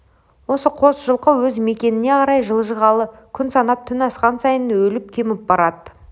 осы қос жылқы өз мекеніне қарай жылжығалы күн санап түн асқан сайын өліп кеміп барады